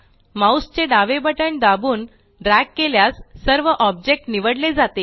mouse चे डावे button दाबून ड्रॅग केल्यास सर्व ऑब्जेक्ट निवडले जातील